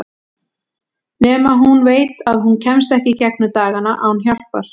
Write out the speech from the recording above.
Nema hún veit að hún kemst ekki í gegnum dagana án hjálpar.